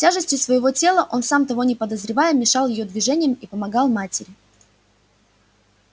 тяжестью своего тела он сам того не подозревая мешал её движениям и помогал матери